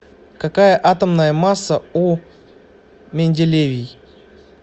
какая атомная масса у менделевий